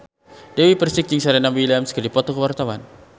Dewi Persik jeung Serena Williams keur dipoto ku wartawan